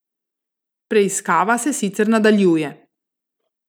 Preiskava se sicer nadaljuje.